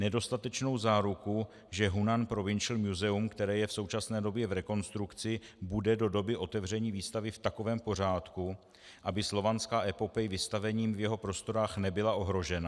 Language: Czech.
- nedostatečnou záruku, že Hunan Provincial Museum, které je v současné době v rekonstrukci, bude do doby otevření výstavy v takovém pořádku, aby Slovanská epopej vystavením v jeho prostorách nebyla ohrožena;